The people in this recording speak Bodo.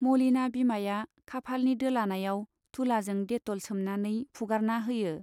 मलिना बिमाया खाफालनि दोलानायाव तुलाजों डेट'ल सोमनानै फुगारना होयो।